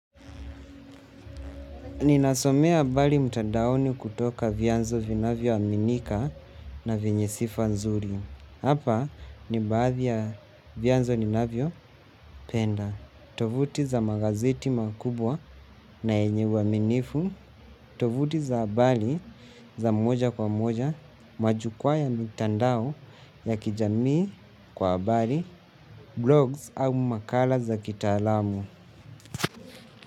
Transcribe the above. Ninasomea bali mtandaoni kutoka vyanzo vinavyoaminika na venye sifa nzuri. Hapa ni baadhi ya vyanzo ninavyopenda. Tovuti za magazeti makubwa na yenye uaminifu. Tovuti za bali za moja kwa moja. Majukwa ya mitandao ya kijamii kwa bali, blogs au makala za kitaalamu.